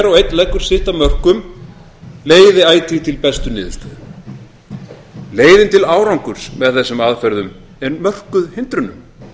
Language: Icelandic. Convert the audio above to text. og einn leggur sitt af mörkum leiði ætíð til bestu niðurstöðu leiðin til árangurs með þessum aðferðum er mörkuð hindrunum